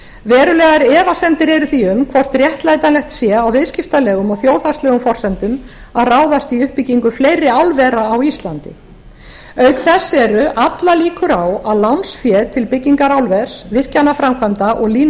verulegar efasemdir eru því um hvort réttlætanlegt sé á viðskiptalegum og þjóðhagslegum forsendum að ráðast í uppbyggingu fleiri álvera á íslandi auk þess eru allar líkur á að lánsfé til byggingar álvers virkjanaframkvæmda og línulagna